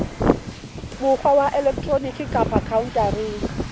mokgwa wa elektroniki kapa khaontareng